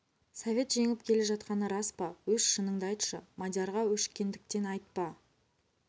совет жеңіп келе жатқаны рас па өз шыныңды айтшы мадиярға өшіккендіктен айтпа